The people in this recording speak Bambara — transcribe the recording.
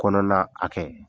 Kɔnɔna hakɛ